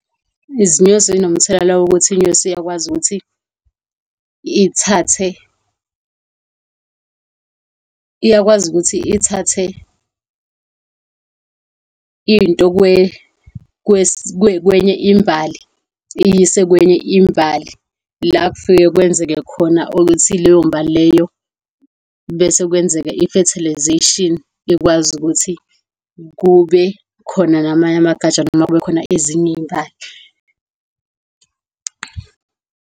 Izinyosi zinomthelela wokuthi inyosi iyakwazi ukuthi ithathe, iyakwazi ukuthi ithathe into kwenye imbali iyiyise kwenye imbali, la kufike kwenzeke khona ukuthi leyo mbali leyo, bese kwenzeka i-fertilisation, ikwazi ukuthi kube khona namanye amagatsha noma kube khona ezinye iy'mbali.